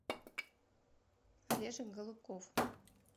олежек голубков